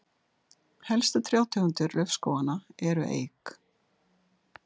helstu trjátegundir laufskóganna eru eik